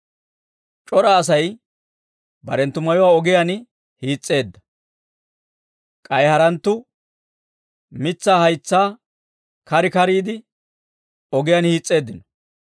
C'ora Asay barenttu mayuwaa ogiyaan hiis'eedda; k'ay haranttuu mitsaa haytsaa kar kariide, ogiyaan hiis's'eeddino.